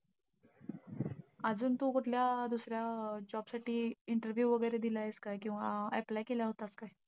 अजून तू कुठल्या job साठी interview वगैरे दिलायेस का? किंवा apply केला होतास का?